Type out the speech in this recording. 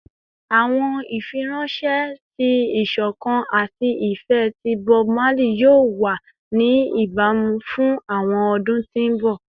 Awọn ifiranṣẹ ti isokan ati ifẹ ti Bob Marley yoo wa ni ibamu fun awọn ọdun ti mbọ